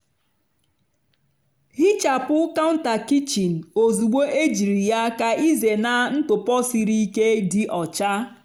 hichapụ counter kichin ozugbo ejiri ya ka ịzena ntụpọ siri ike dị ọcha.